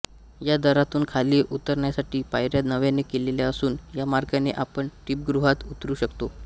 या दारातून खाली उतरण्यासाठी पायऱ्या नव्याने केलेल्या असून या मार्गाने आपण दीपगृहात उतरु शकतो